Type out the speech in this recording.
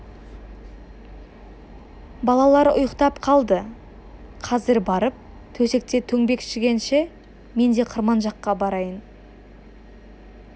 балалар ұйықтап қалды қазір барып төсекте төңбекшігенше мен де қырман жаққа барайын